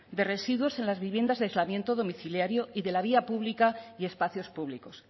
de residuos en las viviendas de aislamiento domiciliario y de la vía pública y espacios públicos